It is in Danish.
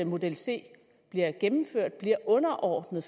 model c bliver gennemført bliver underordnet